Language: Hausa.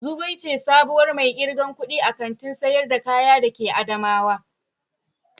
Zugwai ce sabuwar mai irgan kuɗi a Kantin sayar da kaya da ke adamawa.